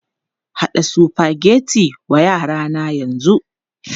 Haɗa Sufageti wa yara na yanzu!